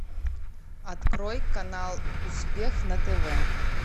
открой канал успех на тв